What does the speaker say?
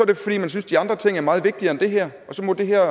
det fordi man synes de andre ting er meget vigtigere end det her og så må det her